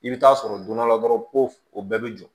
I bɛ taa sɔrɔ don dɔ la dɔrɔn ko o bɛɛ bɛ jɔ